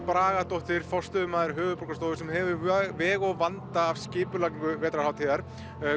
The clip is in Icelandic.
Bragadóttir forstöðumaður höfuðborgarstofu sem hefur veg og vanda af skipulagningu vetrarhátíðar